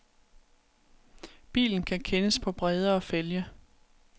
Bilen kan kendes på bredere fælge.